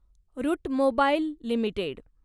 route Mobile limited